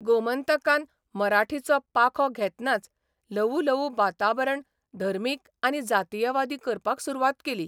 गोमंतकान मराठीचो पाखो घेतनाच ल्हवू ल्हवू वातावरण धर्मीक आनी जातीयवादी करपाक सुरवात केली.